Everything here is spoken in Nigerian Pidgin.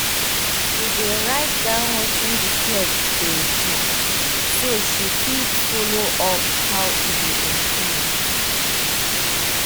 she dey write down wetin the pet dey do so she fit follow up how e dey improve